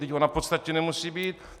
Vždyť ona v podstatě nemusí být!